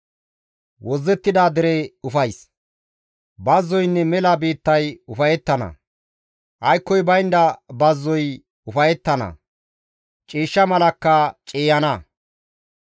Bazzoynne mela biittay ufayettana; aykkoy baynda bazzoy ufayettana; ciishsha malakka ciiyana.